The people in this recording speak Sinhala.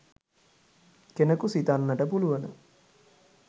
කෙනකු සිතන්නට පුළුවන